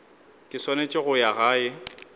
ke swanetse go ya gae